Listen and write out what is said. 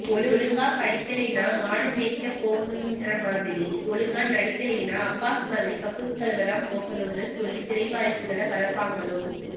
ஒழுங்கா படிக்கலைனா மாடுமேய்க்கபோகணும்ன்ற மாதிரி ஒழுங்கா நடிக்கலைனா அப்பாஸ் மாதிரி கக்கூஸ் கழுவதான் போகணும்னு சொல்லி திரைவாரிசுகள வளப்பாங்களோ